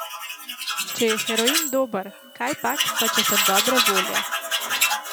Če je heroin dober, kajpak, pa če sem dobre volje.